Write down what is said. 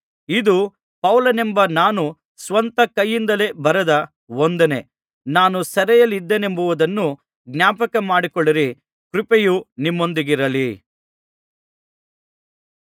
ಇದು ಪೌಲನೆಂಬ ನಾನು ಸ್ವಂತ ಕೈಯಿಂದಲೇ ಬರೆದ ವಂದನೆ ನಾನು ಸೆರೆಯಲ್ಲಿದ್ದೇನೆಂಬುದನ್ನು ಜ್ಞಾಪಕ ಮಾಡಿಕೊಳ್ಳಿರಿ ಕೃಪೆಯು ನಿಮ್ಮೊಂದಿಗಿರಲಿ